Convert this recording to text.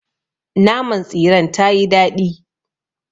Naman tsiren tayii daɗi.